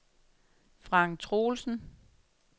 Frank Truelsen